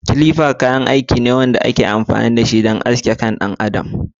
Clipper kayan aiki ne na musamman da ake amfani da shi don aske gashin kan ɗan adam.